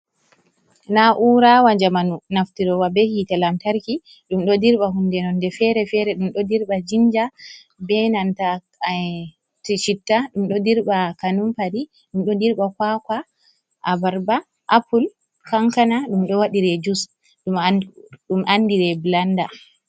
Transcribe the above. Na'ura wa jamanu naftirowa be hitte lamtarki ɗum ɗo dirɓa hunde nonde fere-fere, ɗum ɗo dirɓa jinja be nanta chitta, ɗum ɗo dirɓa kanumpari, ɗum ɗo dirɓa kwakwa, abarba, apple, kankana, ɗum ɗo waɗire jus ɗum andire blanda.